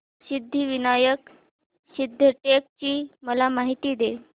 सिद्धिविनायक सिद्धटेक ची मला माहिती दे